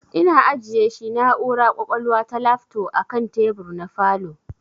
Ina ajiyeshi na'ura kwakwalwa ta lafto akan tebur na falow